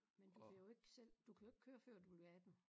Men du bliver jo ikke selv du kan jo ikke køre før du bliver 18